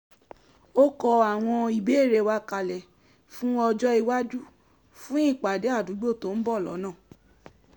ó kó àwọn ìbéèrè wa kalẹ̀ fún ọjó iwájú fún ìpàdé àdúgbò tó ń bọ̀ lọ́nà